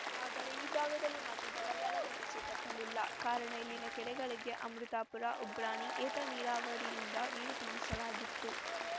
ಆದರೆ ಈ ಭಾಗದಲ್ಲಿ ಮಾತ್ರ ಬರಗಾಲದ ಬಿಸಿ ತಟ್ಟಲಿಲ್ಲ ಕಾರಣ ಇಲ್ಲಿನ ಕೆರೆಗಳಿಗೆ ಅಮೃತಾಪುರ ಉಬ್ರಾಣಿ ಏತ ನೀರಾವರಿಯಿಂದ ನೀರು ತುಂಬಿಸಲಾಗಿತ್ತು